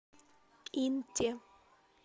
инте